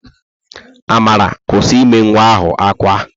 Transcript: Amara, kwụsị ime nwa ahụ ákwá!